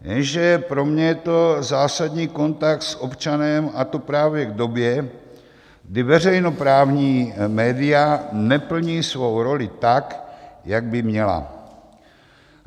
Jenže pro mě je to zásadní kontakt s občanem, a to právě v době, kdy veřejnoprávní média neplní svou roli tak, jak by měla.